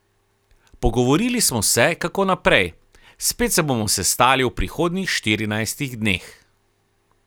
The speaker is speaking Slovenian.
Pogovorili smo se, kako naprej, spet se bomo sestali v prihodnjih štirinajstih dneh.